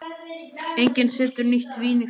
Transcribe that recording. Enginn setur nýtt vín á forna belgi.